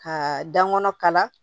Ka dankɔrɔn kala